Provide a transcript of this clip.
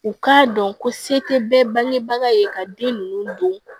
U k'a dɔn ko se tɛ bɛɛ bangebaga ye ka den ninnu don